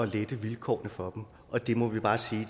lette vilkårene for dem og det må vi bare sige